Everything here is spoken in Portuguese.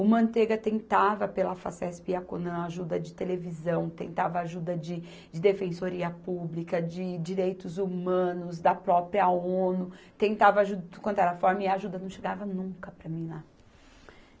O Mantega tentava, pela Facesp e a Conan, ajuda de televisão, tentava ajuda de, de defensoria pública, de direitos humanos, da própria Onu, tentava ajuda de tudo quanto era forma, e a ajuda não chegava nunca para mim lá.